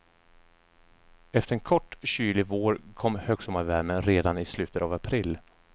Efter en kort, kylig vår kom högsommarvärmen redan i slutet av april.